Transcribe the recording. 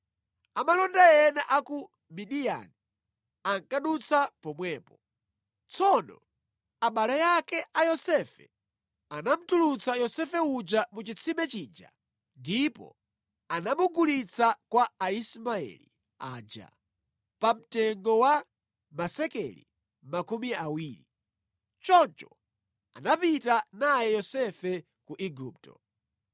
Amalonda ena a ku Midiyani ankadutsa pomwepo. Tsono abale ake a Yosefe anamutulutsa Yosefe uja mu chitsime chija ndipo anamugulitsa kwa Aismaeli aja pamtengo wa masekeli makumi awiri. Choncho anapita naye Yosefe ku Igupto.